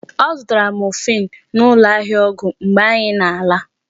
Ọ zụtara morphine n'ụlọ ahịa ọgwụ mgbe anyị na-ala.